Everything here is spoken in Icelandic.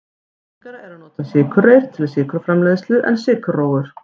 algengara er að nota sykurreyr til sykurframleiðslu en sykurrófur